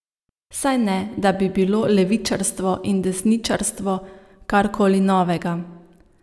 Saj ne, da bi bilo levičarstvo in desničarstvo karkoli novega.